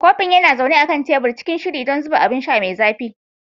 Kofin yana zaune a kan tebur, cikin shiri don zuba abun sha mai zafi.